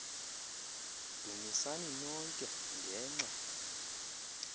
dumisani nonke ngenxa